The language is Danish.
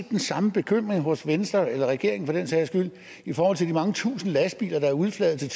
den samme bekymring hos venstre eller regeringen for den sags skyld i forhold til de mange tusinde lastbiler der er udflaget